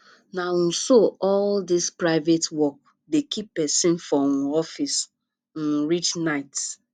na um so all dis private work dey keep pesin for um office um reach night